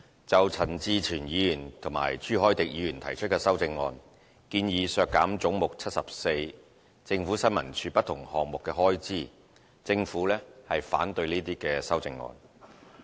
就陳志全議員和朱凱廸議員提出的修正案，建議削減"總目 74― 政府新聞處"不同項目的開支，政府反對這些修正案。